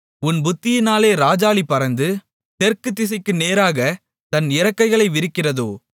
உன் புத்தியினாலே ராஜாளி பறந்து தெற்கு திசைக்கு நேராகத் தன் இறக்கைகளை விரிக்கிறதோ